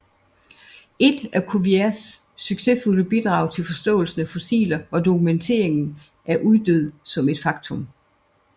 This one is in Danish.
Et af Cuviers succesfulde bidrag til forståelsen af fossiler var dokumenteringen af uddød som et faktum